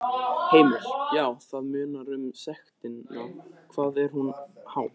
Heimir: Já, það munar um sektina, hvað er hún há?